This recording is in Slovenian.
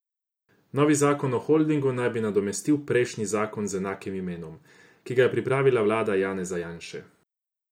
Novi zakon o holdingu naj bi nadomestil prejšnji zakon z enakim imenom, ki ga je pripravila vlada Janeza Janše.